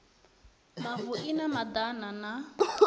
mavu i na madana na